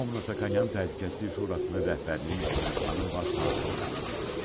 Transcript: Lyobomnonyan Təhlükəsizlik Şurasının rəhbərinin Ermənistanın baş naziri olduğunu dedi.